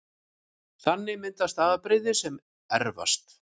Þannig myndast afbrigði sem erfast